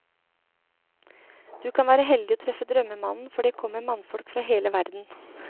Du kan være heldig og treffe drømmemannen, for det kommer mannfolk fra hele verden.